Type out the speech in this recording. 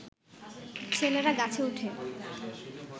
ছেলেরা গাছে উঠে